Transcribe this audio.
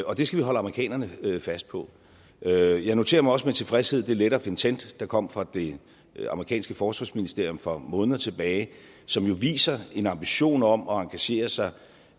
og det skal vi holde amerikanerne fast på jeg jeg noterer mig også med tilfredshed det letter of intent der kom fra det amerikanske forsvarsministerium for måneder tilbage som jo viser en ambition om at engagere sig